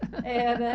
É, né?